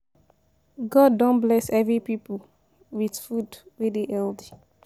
God don bless every people with food wey dey healthy.